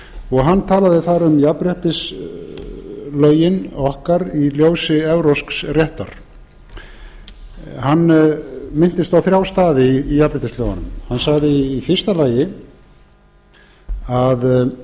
og hann talaði þar um jafnréttislögin okkar í ljósi evrópsks réttar hann minntist á þrjá staði í jafnréttislögunum hann sagði í fyrsta lagi að